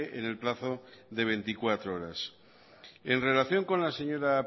en el plazo de veinticuatro horas en relación con la señora